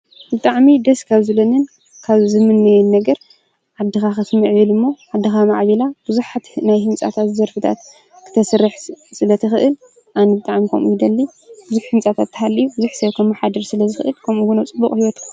ብጣዕሚ ደስ ካብ ዝብለኒ ካብ ዝምነዮን ነገር ዓድኻ ክትምዕብል እሞ ዓድኻ ማዕቢላ ብዙሓት ናይ ህንፃታት ክተስርሕ ስለትኽእል ኣነ ብጣዕሚ ከምኡ ይደሊ ።ብዙሕ ህንፃታት እንድሕር ሃሊዩ ብዙሕ ሰብ ከማሓድር ስለዝክእል ከምዙ ውን ኣብ ፅቡቅ ሂወት